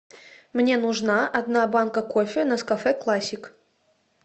мне нужна одна банка кофе нескафе классик